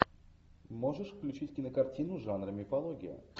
можешь включить кинокартину жанра мифология